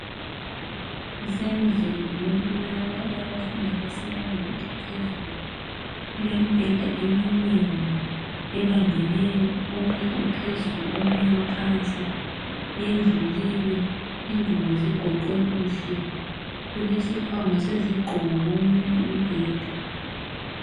Kusendlini yokulala eyabafundi abasebangeni eliphezulu. Kulemibheda eminengi ebambeneyo , omunye uphezulu omunye uphansi. Yendluliwe ingubo zigoqwe kuhle ,kulesikhwama sezigqoko komunye umbheda.